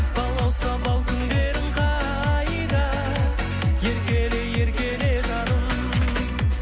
балауса бал күндерің қайда еркеле еркеле жаным